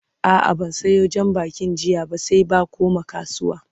a'a ban Sayo jan bakin jiya ba sai ba koma kasuwa